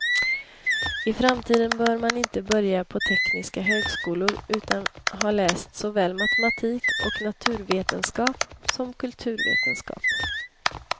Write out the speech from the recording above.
I framtiden bör man inte börja på tekniska högskolor utan att ha läst såväl matematik och naturvetenskap som kulturvetenskap.